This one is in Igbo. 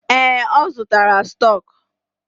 Ee, ọ zụtara stọk.